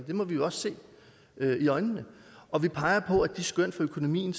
må vi jo se i øjnene og vi peger på at de skøn for økonomien